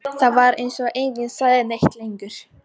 Það var eins og enginn segði neitt lengur.